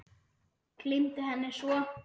Gleymdi henni svo.